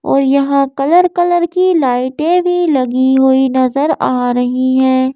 और यहां colour -colour की लाइटें भी लगी हुई नजर आ रही है।